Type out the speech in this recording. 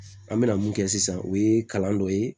An bɛna mun kɛ sisan o ye kalan dɔ ye